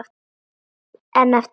En eftir að Baldur.